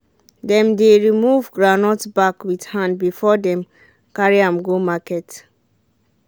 dem dey remove groundnut back with hand before dem carry am go market